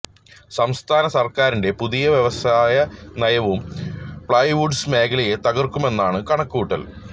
സംസ്ഥാന സര്ക്കാറിന്റെ പുതിയ വ്യവസായ നയവും പ്ലൈവുഡ്സ് മേഖലയെ തകര്ക്കുമെന്നാണ് കണക്കുകൂട്ടല്